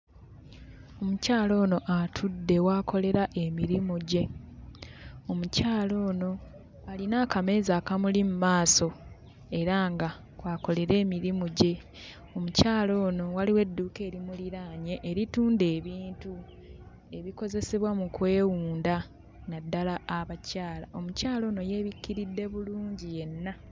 Omukyala ono atudde w'akolera emirimu gye. Omukyala ono alina akameeza akamuli mu maaso era nga kw'akolera emirimu gye. Omukyala ono waliwo edduuka erimuliraanye eritunda ebintu ebikozesebwa mu kwewunda, naddala abakyala. Omukyala ono yeebikkiridde bulungi yenna.